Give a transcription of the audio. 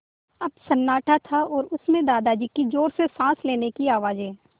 अब सन्नाटा था और उस में दादाजी की ज़ोर से साँस लेने की आवाज़ें